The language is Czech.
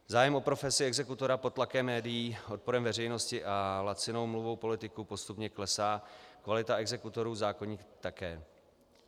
Zájem o profesi exekutora pod tlakem médií, odporem veřejnosti a lacinou mluvou politiků postupně klesá, kvalita exekutorů zákonitě také.